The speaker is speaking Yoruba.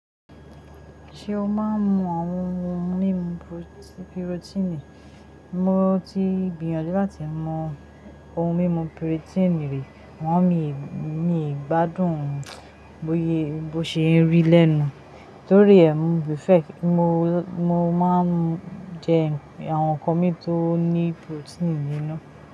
Ṣé o máa ń mu ohun mímu pirotíìnì? Mo ti gbìnyànjú láti mu ohun mímu pirotiiniri, àmọ́ mi gbádùn bó ń ṣe rí lẹ́nu torí ẹ́, mo prefer, mo máa ń jẹ àwọn nǹkan mi tó ní pirotíìnì nínú.